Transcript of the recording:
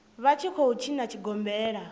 vha tshi khou tshina tshigombela